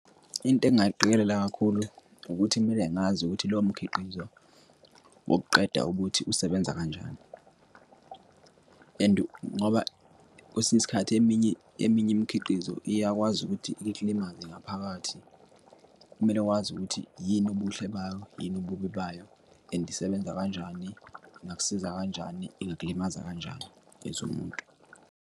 Into engingayiqikelela kakhulu, ukuthi kumele ngazi ukuthi lowo mkhiqizo wokuqeda ubuthi usebenza kanjani, and ngoba kwesinye isikhathi eminye, eminye imikhiqizo iyakwazi ukuthi ikulimaze ngaphakathi. Kumele wazi ukuthi yini ubuhle bayo, yini ububi bayo and isebenza kanjani, ingakusiza kanjani, ingakulimaza kanjani as umuntu.